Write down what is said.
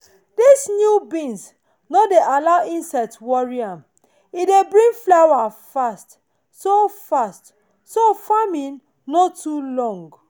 this new beans no dey allow insects worry am and e dey bring flower fast so flower fast so farming no too long.